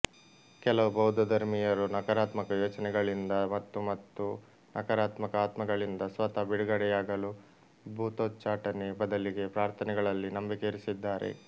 ಕೆಲವು ಬೌದ್ಧಧರ್ಮೀಯರು ನಕಾರಾತ್ಮಕ ಯೋಚನೆಗಳಿಂದ ಮತ್ತುಮತ್ತು ನಕಾರಾತ್ಮಕ ಆತ್ಮಗಳಿಂದ ಸ್ವತಃ ಬಿಡುಗಡೆಯಾಗಲು ಭೂತೋಚ್ಚಾಟನೆ ಬದಲಿಗೆ ಪ್ರಾರ್ಥನೆಗಳಲ್ಲಿ ನಂಬಿಕೆ ಇರಿಸಿದ್ದಾರೆ